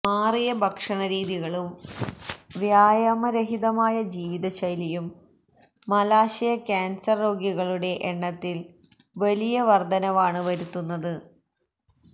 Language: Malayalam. മാറിയ ഭക്ഷണരീതികളും വ്യായാമരഹിതമായ ജീവിതശൈലിയും മലാശയ കാന്സര് രോഗികളുടെ എണ്ണത്തില് വലിയ വര്ധനവാണ് വരുത്തുന്നത്്